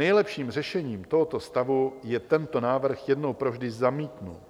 Nejlepším řešením tohoto stavu je tento návrh jednou provždy zamítnout,